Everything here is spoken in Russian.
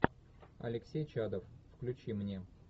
алексей чадов включи мне